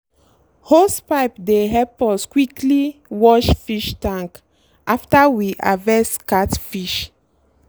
hosepipe dey help us quickly wash fish tank after we harvest catfish.